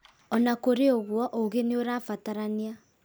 Ona kũrĩ ũguo ũũgĩ nĩurabatarania